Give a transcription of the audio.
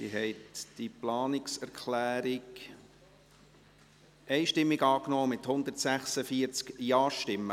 Sie haben diese Planungserklärung einstimmig angenommen, mit 146 Ja-Stimmen.